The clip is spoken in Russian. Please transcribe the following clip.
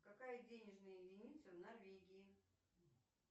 какая денежная единица в норвегии